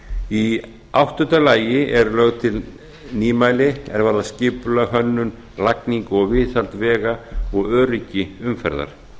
í áttunda lagi eru lögð til nýmæli er varða skipulag hönnun lagningu og viðhald vega og öryggi umferðar